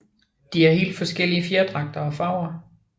De har helt forskellige fjerdragter og farver